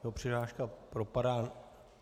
Tato přihláška propadá.